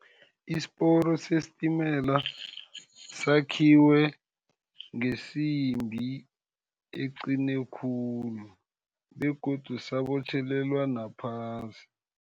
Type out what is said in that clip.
Isiporo sesitimela sakhiwe ngesimbi eqine khulu, begodu sabotjhelelwa nabaphasi.